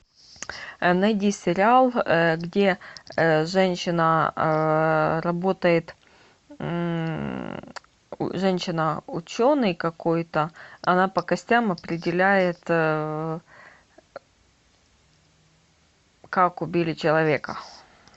найди сериал где женщина работает женщина ученый какой то она по костям определяет как убили человека